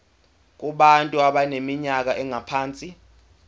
kubantu abaneminyaka engaphansi